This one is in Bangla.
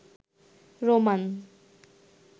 রোমান